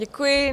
Děkuji.